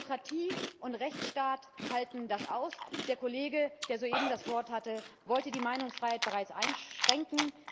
Demokratie und Rechtsstaat halten das aus! Der Kollege, der soeben das Wort hatte, wollte die Meinungsfreiheit bereits einschränken.